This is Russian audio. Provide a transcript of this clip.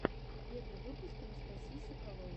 первый выпуск анастасии соколовой